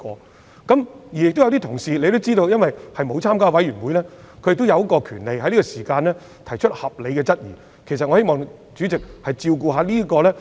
大家也知道，有些議員並沒有加入法案委員會，他們有權在這個階段提出合理質疑，我希望主席諒解。